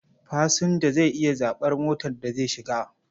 Fasinja zai iya zaɓar motar da zai shiga.